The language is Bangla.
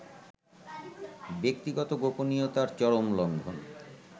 ব্যক্তিগত গোপনীয়তার চরম লংঘন